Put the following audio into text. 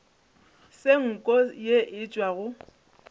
se nko ye e tšwago